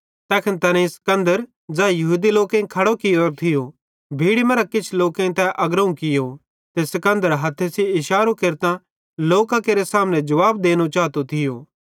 तैखन तैनेईं सिकन्दर ज़ै यहूदी लोकेईं खड़ो कियोरो थियो भीड़ी मरां किछ लोकेईं तै अग्रोवं कियो ते सिकन्दर हथ्थे सेइं इशारो केरतां लोकां केरे सामने जुवाब देनो चातो थियो